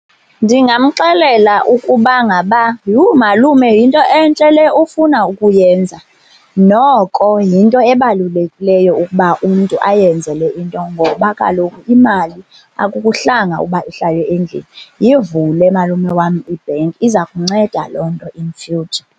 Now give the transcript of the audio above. Ndingamxelela ukuba ngaba, yhu malume yinto entle le ufuna ukuyenza. Noko yinto ebalulekileyo ukuba umntu ayenze le into ngoba kaloku imali akukuhlanga uba ihlale endlini. Yivule malume wam ibhenki, iza kunceda loo nto in future.